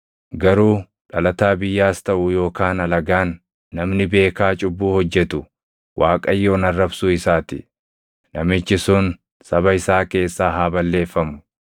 “ ‘Garuu dhalataa biyyaas taʼu yookaan alagaan, namni beekaa cubbuu hojjetu Waaqayyoon arrabsuu isaa ti; namichi sun saba isaa keessaa haa balleeffamu.